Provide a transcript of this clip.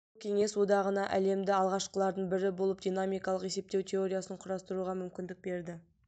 бұл кеңес одағына әлемде алғашқылардың бірі болып динамикалық есептеу теориясын құрастыруға мүмкіндік берді